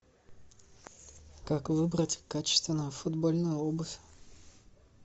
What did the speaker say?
как выбрать качественную футбольную обувь